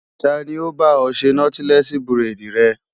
Ta ni ó bá ọ ṣe nọ́tílẹ́ẹ̀sì buredì rẹ?